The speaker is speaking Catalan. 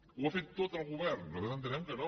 ho ha fet tot el govern nosaltres entenem que no